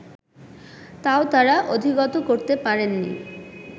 তাও তাঁরা অধিগত করতে পারেননি